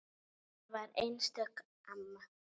Mamma var einstök amma.